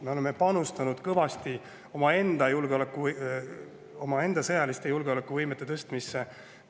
Me oleme panustanud kõvasti omaenda sõjaliste julgeolekuvõime.